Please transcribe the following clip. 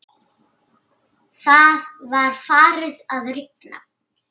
Það var farið að rigna.